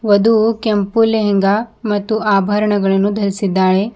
ವಧು ಕೆಂಪು ಲೆಹೆಂಗಾ ಮತ್ತು ಆಭರಣಗಳನ್ನು ಧರಿಸಿದ್ದಾಳೆ.